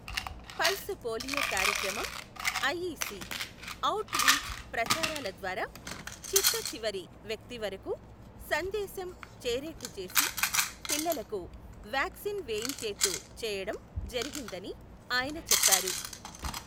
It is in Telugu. పల్సు పోలియో కార్యక్రమం, ఐఇసి, ఔట్ రీచ్ ప్రచారాల ద్వారా చిట్టచివరి వ్యక్తి వరకూ సందేశం చేరేట్టు చేసి, పిల్లలకు వాక్సిన్ వేయించేట్టు చేయడం జరిగిందని ఆయన చెప్పారు.